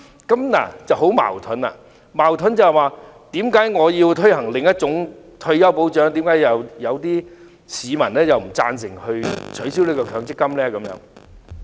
這情況很矛盾，矛盾在於當有人建議推行另一種退休保障制度時，有市民卻不贊同取消強積金。